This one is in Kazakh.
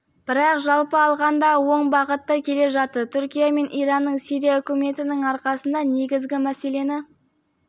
бірақ жалпы алғанда оң бағытта келе жатыр түркия мен иранның сирия үкіметінің арқасында негізгі мәселені